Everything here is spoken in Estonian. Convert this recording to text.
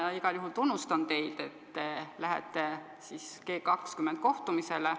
Ma igal juhul tunnustan teid, et te lähete G20 kohtumisele.